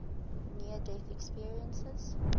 near death experiences